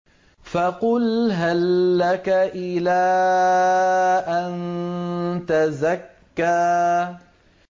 فَقُلْ هَل لَّكَ إِلَىٰ أَن تَزَكَّىٰ